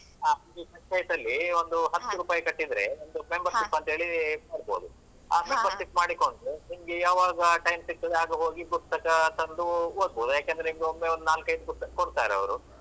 ಹಾ, ಅಲ್ಲಿ ಹಾ ಒಂದು ಹತ್ತು ರೂಪಾಯಿ ಕಟ್ಟಿದ್ರೆ ಒಂದು membership ಅಂತ ಹೇಳಿ ಮಾಡ್ಬೋದು. ಆ membership ಮಾಡಿಕೊಂಡು ನಿಮ್ಗೆ ಯಾವಾಗ time ಸಿಗ್ತದೆ ಆಗ ಹೋಗಿ ಪುಸ್ತಕ ತಂದು ಓದ್ಬೋದು, ಯಾಕಂದ್ರೆ ಈಗ ಒಮ್ಮೆ ಒಂದು ನಾಲ್ಕೈದು ಪುಸ್ತಕ ಕೊಡ್ತಾರೆ ಅವರು.